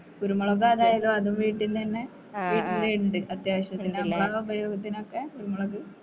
കുരുമുളക് അതായത് അതും വീട്ടീന്നനെ വീട്ടിലിണ്ട് അത്യാവിശ്യത്തിനിലെ പിന്നെ ആ ഉപയോഗത്തിനൊക്കെ കുരുമുളക്